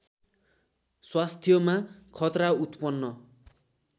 स्वास्थ्यमा खतरा उत्पन्न